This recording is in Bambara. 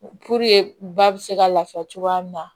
ba bɛ se ka lafiya cogoya min na